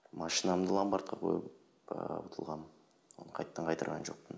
машинамды ломбардқа қойып ыыы ұтылғанмын оны қайтадан қайтарған жоқпын